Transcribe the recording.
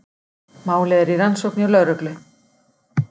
Málið er í rannsókn hjá lögreglu